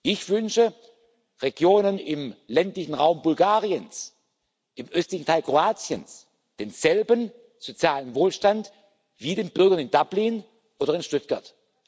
Ich wünsche Regionen im ländlichen Raum Bulgariens, im östlichen Teil Kroatiens denselben sozialen Wohlstand wie den Bürgern in Dublin oder in Stuttgart.